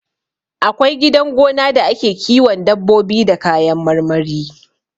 Akwai gidan gona da ake kiwon dabbobi da kayan marmari